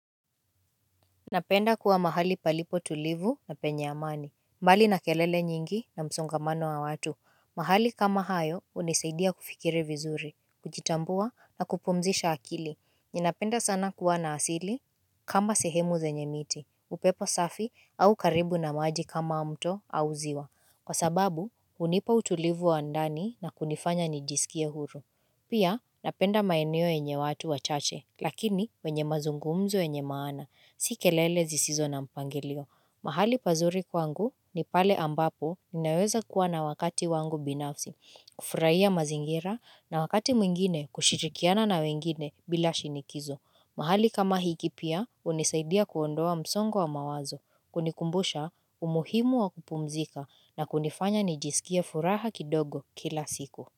Napenda kuwa mahali palipo tulivu na penye amani mbali na kelele nyingi na msongamano wa watu mahali kama hayo hunisaidia kufikiria vinzuri kujitambua na kupumzisha akili Ninapenda sana kuwa na asili. Kama sehemu zenye miti, upepo safi au karibu na maji kama mto au ziwa kwa sababu hunipa utulivu wa ndani na kunifanya nijisikie huru. Pia, napenda maeneo yenye watu wachache. Lakini wenye mazungumzo yenye maana, si kelele zisizo na mpangilio. Mahali pazuri kwangu ni pale ambapo ninaweza kuwa na wakati wangu binafsi, kufurahia mazingira na wakati mwingine kushirikiana na wengine bila shinikizo. Mahali kama hiki pia, hunisaidia kuondoa msongo wa mawazo, kunikumbusha umuhimu wa kupumzika na kunifanya nijisikie furaha kidogo kila siku.